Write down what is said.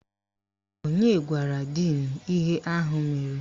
Onye gwara díìnu ihe ahụ mere?